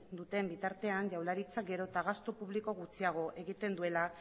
duen bitartean jaurlaritzak gero eta gastu publiko gutxiago egiten duela